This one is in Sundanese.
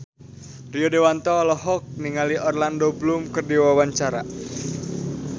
Rio Dewanto olohok ningali Orlando Bloom keur diwawancara